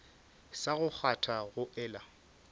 sa go kgwatha go ela